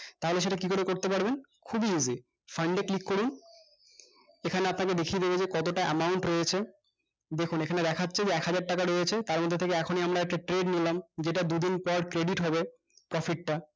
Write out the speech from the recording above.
তাহলে সেইটা কি করে করতে পারবেন খুবই easyfund এ click করুন এখানে আপনাকে দেখিয়ে দিবে যে কতটা amount রয়েছে দেখুন এইখানে দেখাচ্ছে যে একহাজার টাকা রয়েছে তারমধ্যে থেকে এখনই আমরা একটা trade নিলাম যেইটা দুদিন পর credit হবে profit টা